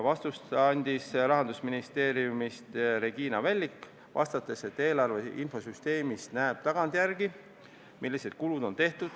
Vastuse andis Rahandusministeeriumist Regina Vällik, vastates, et eelarve infosüsteemist näeb tagantjärele, millised kulud on tehtud.